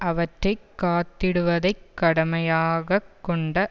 அவற்றை காத்திடுவதைக் கடமையாகக் கொண்ட